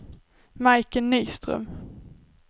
Majken Nyström